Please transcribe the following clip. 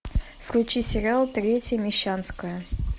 включи сериал третья мещанская